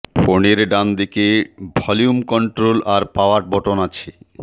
ফোনের ডান দিকে ভলিউম কন্ট্রোল আর পাওয়ার বটন আছে